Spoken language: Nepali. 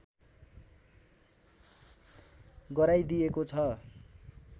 गराइदिएको छ